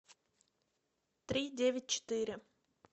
три девять четыре